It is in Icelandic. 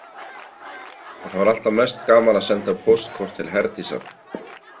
En það var alltaf mest gaman að senda póstkort til Herdísar.